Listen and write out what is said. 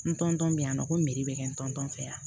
N tɔntɛ bɛ yan nɔ ko meri bɛ kɛ n tɔntɔn fɛ yan